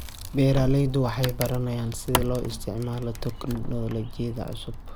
Beeraleydu waxay baranayaan sida loo isticmaalo tignoolajiyada cusub.